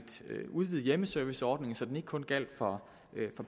udvide hjemmeserviceordningen så den ikke kun gælder for